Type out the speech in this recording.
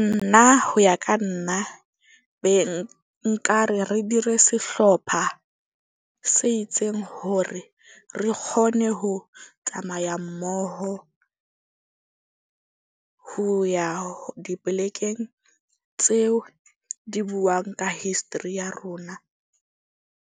Nna ho ya ka nna be nka re dire sehlopha se itseng hore re kgone ho tsamaya mmoho ho ya dipolekeng tseo di buang ka history ya rona.